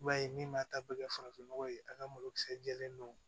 I m'a ye min b'a ta bɛɛ kɛ farafinnɔgɔ ye a ka malo kisɛ jɛlen don